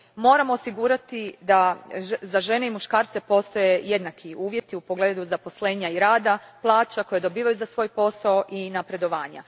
Moramo osigurati da za žene i muškarce postoje jednaki uvjeti u pogledu zaposlenja i rada, plaća koje dobivaju za svoj posao i napredovanja.